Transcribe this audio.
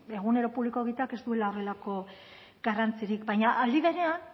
egunero publiko egiteak ez duela horrelako garrantzirik baina aldi berean